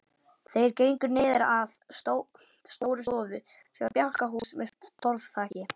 Þeir gengu niður að Stórustofu sem var bjálkahús með torfþaki.